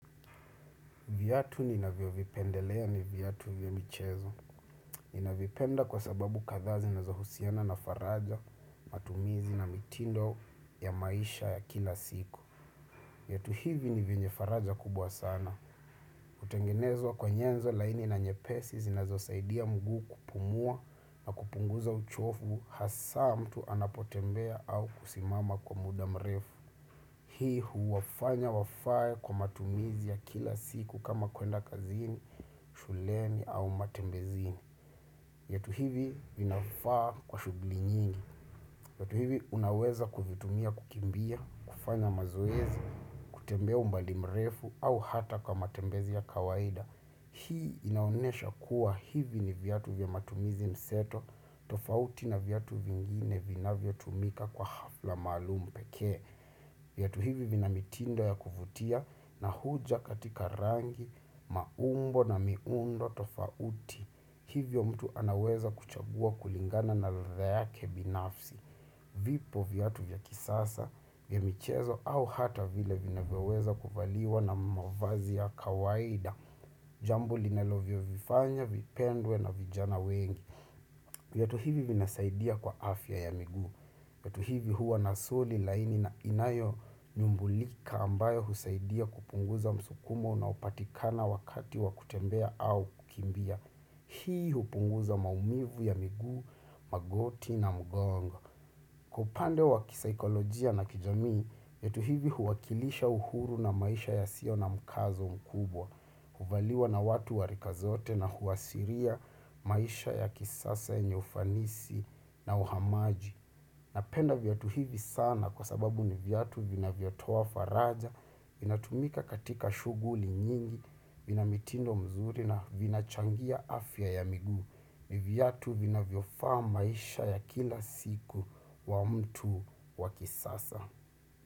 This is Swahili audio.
Viatu ninavyo vipendelea ni viatu vya michezo. Ni na vipenda kwa sababu kadhaa zinazo husiana na faraja matumizi na mitindo ya maisha ya kila siku. Viatu hivi ni venye faraja kubwa sana. Huttengenezwa kwenye nyenzo laini na nye pesi zinazosaidia mguu kupumua na kupunguza uchofu hasa mtu anapotembea au kusimama kwa muda mrefu. Hii huwafanya wafae kwa matumizi ya kila siku kama kuenda kazini, shuleni au matembezini. Viatu hivi vinafaa kwa shuguli nyingi. Viatu hivi unaweza kuvitumia kukimbia, kufanya mazoezi, kutembea umbali mrefu au hata kwa matembezi ya kawaida. Hii inaonesha kuwa hivi ni viatu vya matumizi mseto, tofauti na viatu vingine vinavyo tumika kwa hafla maalum pekee. Viatu hivi vina mitindo ya kuvutia na huja katika rangi, maumbo na miundo tofauti. Hivyo mtu anaweza kuchagua kulingana na ladha yake binafsi. Vipo viatu vya kisasa, vya michezo au hata vile vinaweza kuvaliwa na mwavazi ya kawaida. Jambo linalovyo vifanya, vipendwe na vijana wengi. Viatu hivi vina saidia kwa afya ya miguu. Viatu hivi huwa na soli laini na inayo nyumbulika ambayo husaidia kupunguza msukumo unaopatikana wakati wakutembea au kukimbia. Hii hupunguza maumivu ya miguu, magoti na mgongo. Kwa upande wa kisaikolojia na kijamii, viatu hivi huwakilisha uhuru na maisha ya sio na mkazo mkubwa, huvaliwa na watu wa rika zote na huashiria maisha ya kisasa ya ufanisi na uhamaji. Napenda viatu hivi sana kwa sababu ni viatu vina vyotoa faraja, vina tumika katika shuguli nyingi, vina mitindo mzuri na vina changia afya ya miguu. Ni viatu vina vyofaa maisha ya kila siku wa mtu wakisasa.